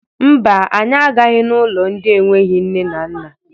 Mba, anyị agaghị n'ụlọ ndị enweghi nne na nna.